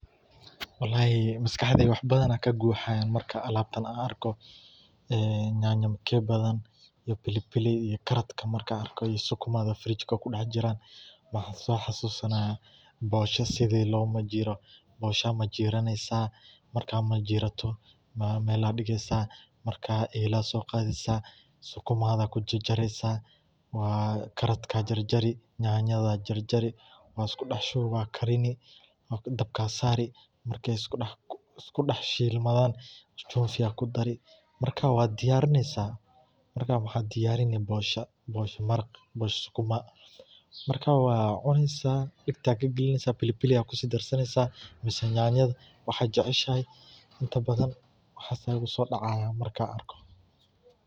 Walahi maskaxdeyda wax badan aya kaguhayan amarkan alabtaan an arko, ee nyanya mkepe iyo pilipili iyo karatka marka ark sukuma, fridge kudaxjiraan waxan sohasusanaya bosha sidhi lomajiro bodga aya majiraani marka majirato meel aya digeysa, marka ela sogadeysa sukuma ayad kujarjareysa waa karatka jarjari nyanyada jarjari wad iskudahshuwi wad karini, dabka sarii markay iskudax shilmadan chumvi aya kudarii marka wad diyarinaysa, marka waxad diyarini bosha bosha marag bosha sukuma marka wad cuneysa dagta kagalineysa pilipili aya kusidarsaneysa mise nyanyada waxad keceshahay inta badan waxas aya igusodacayan markan arko.